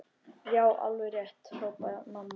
Já, alveg rétt hrópaði mamma.